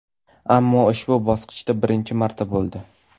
Ammo ushbu bosqichda birinchi marta bo‘ldi.